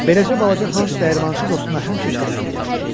Beləcə balaca Hans dəyirmançı dostuna həmişə kömək eləyərdi.